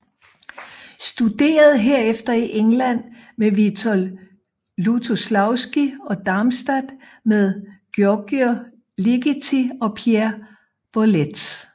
Studerede herefter i England med Witold Lutoslawski og i Darmstadt med György Ligeti og Pierre Boulez